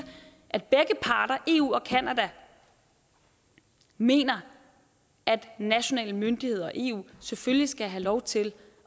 at begge parter eu og canada mener at nationale myndigheder og eu selvfølgelig skal have lov til